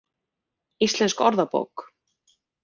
Íslensk orðabók.